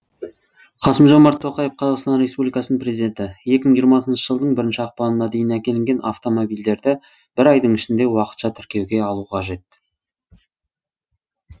қасым жомарт тоқаев қазақстан республикасының президенті екі мың жиырмасыншы жылдың бірінші ақпанына дейін әкелінген автомобильдерді бір айдың ішінде уақытша тіркеуге алу қажет